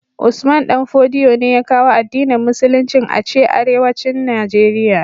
Usman danfodiyo ne ya kawo addinin musulicin ace arewacin nigeria